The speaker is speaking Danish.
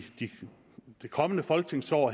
det kommende folketingsår